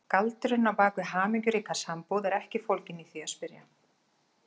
Galdurinn á bak við hamingjuríka sambúð er ekki fólginn í því að spyrja